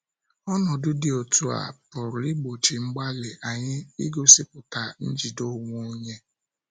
Ọnọdụ dị otú a pụrụ ịgbochi mgbalị anyị igosipụta njide onwe onye.